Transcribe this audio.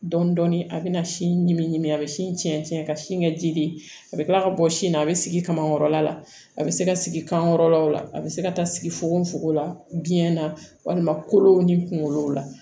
Dɔɔnin dɔɔnin a bɛ na sin ɲimi ɲimi a bɛ sin cɛ ka sin kɛ ji ye a bɛ kila ka bɔ sin na a bɛ sigi kamakɔrɔ la a bɛ se ka sigi kankɔrɔla la a bɛ se ka taa sigi fogo fogo la biyɛn na walima kolow ni kungolow la